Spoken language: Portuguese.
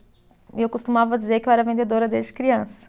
E eu costumava dizer que eu era vendedora desde criança.